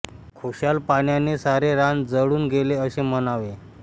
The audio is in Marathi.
खुशाल पाण्याने सारे रान जळून गेले असे म्हणावे